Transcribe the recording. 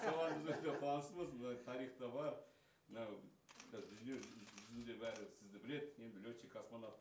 соған өте қуаныштымыз мына тарихта бар мынау қазір дүниежүзінде бәрі сізді біледі енді летчик космонавт